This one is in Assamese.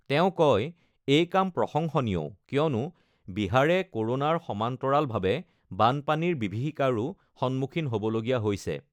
তেওঁ কয়, এই কাম প্ৰশংসনীয়ও কিয়নো বিহাৰে ক'ৰোনাৰ সমান্তৰালভাৱে বানপানীৰ বিভীষিকাৰো সন্মুখীন হ বলগীয়া হৈছে।